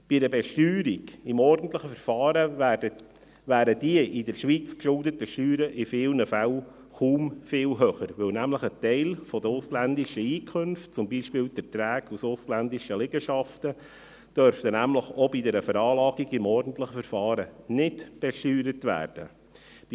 Bei einer Besteuerung im ordentlichen Verfahren wären die in der Schweiz geschuldeten Steuern in vielen Fällen kaum viel höher, weil nämlich ein Teil der ausländischen Einkünfte, zum Beispiel die Erträge aus ausländischen Liegenschaften, auch bei einer Veranlagung im ordentlichen Verfahren nicht besteuert werden dürften.